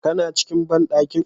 Kana cikin bandankin?